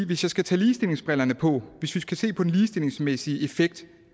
vi så skal tage ligestillingsbrillerne på og hvis vi skal se på den ligestillingsmæssige effekt